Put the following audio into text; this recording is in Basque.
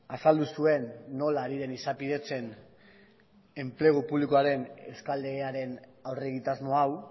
azaldu zuen nola ari den izapidetzen enplegu publikoaren euskal legearen aurre egitasmo hau